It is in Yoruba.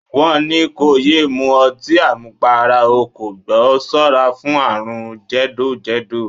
Wọ́n ní kó yé mu ọtí àmupara, o kò gbọ́; ṣọ́ra fún àrùn jẹ̀dọ̀-jẹ̀dọ̀.